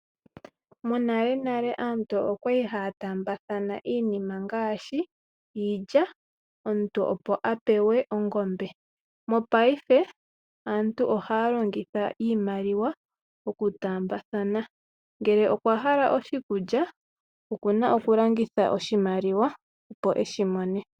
Monalenale aantu okwa li haya taambathana iinima ngaashi iilya, omuntu opo a pewe ongombe. Mopaife, aantu ohaa longitha iimaliwa okutaambathana. Ngele okwa hala oshikulya, oku na okulongitha oshimaliwa opo e shi mone.